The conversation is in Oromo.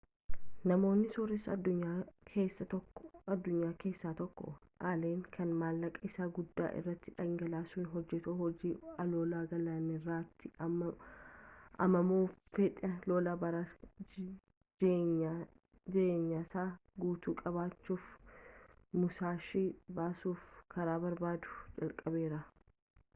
namoota sooressa addunyaa keessa tokko allen kan maallaqaa isaa guddaa irratti dhangalaasuun hojaatu hojii aloolaa galaanarraati ammamoo fedhii lolaa bara jieenyasaa guutuu qabuuf musaashii baasuf karaa barbaadu jalqabeera